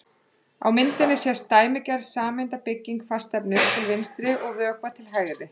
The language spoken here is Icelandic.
Á myndinni sést dæmigerð sameindabygging fastefnis til vinstri og vökva til hægri.